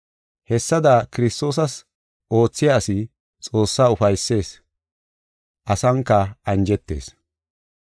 Hessada Kiristoosas oothiya asi Xoossaa ufaysees; asanka anjetees.